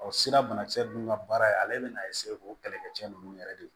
Ɔ sira banakisɛ ninnu ka baara ye ale bɛna o kɛlɛkɛcɛ ninnu yɛrɛ de